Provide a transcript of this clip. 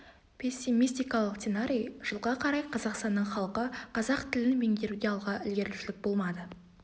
пессемистикалық сценарий жылға қарай қазақстанның халқы қазақ тілін меңгеруде алға ілгерілеушілік болмады